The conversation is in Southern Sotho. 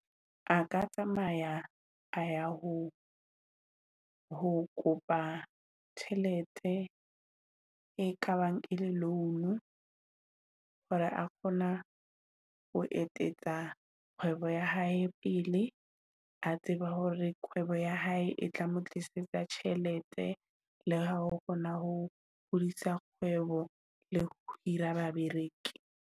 A ka tsamaya a ya ho ho kopa tjhelete e kabang e le loan-u, hore a kgona ho etetsa kgwebo ya hae pele. A tseba hore kwebo ya hae e tla mo tlisetsa tjhelete le ha ho na ho hodisa kgwebo le ho hira babereki.